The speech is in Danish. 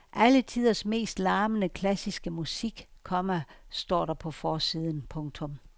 Alle tiders mest larmende klassiske musik, komma står der på forsiden. punktum